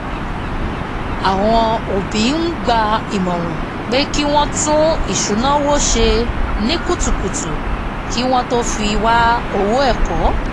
àwọn òbí ń gba ìmọ̀ràn pé kí wọ́n tún isunawo ṣe ní kutukutu kí wọ́n tó fi wá owó ẹ̀kọ́